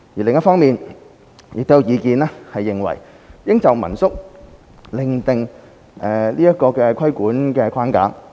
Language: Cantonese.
另一方面，亦有意見認為應就民宿另訂規管框架。